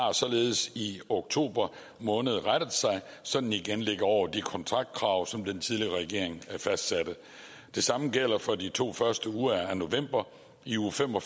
har således i oktober måned rettet sig så den igen ligger over de kontraktkrav som den tidligere regering fastsatte det samme gælder for de to første uger af november i uge fem og